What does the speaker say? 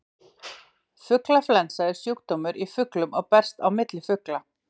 fuglaflensa er sjúkdómur í fuglum og berst á milli fugla